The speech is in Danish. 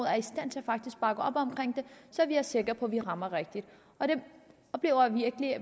er i stand til at bakke op om det så vi er sikre på at vi rammer rigtigt og vi oplever virkelig